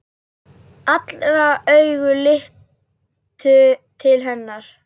Allra augu litu til hennar.